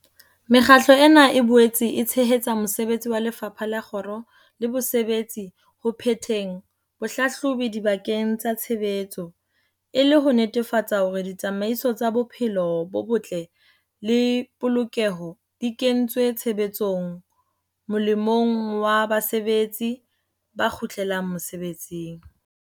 Mekgatlo ena e boetse e tshehetsa mosebetsi wa Lefapha la Kgiro le Bosebetsi ho phetheng bohlahlobi dibakeng tsa tshebetso, e le ho netefatsa hore ditsamaiso tsa bophelo bo botle le polokeho di kentswe tshebetsong molemong wa basebetsi ba kgutlelang mesebetsing.